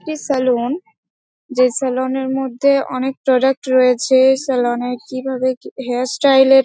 এটি স্যালুন । যে স্যালুন এর মধ্যে অনেক প্রোডাক্ট রয়েছে। স্যালুন -এ কিভাবে কি হেয়ার স্টাইল এর--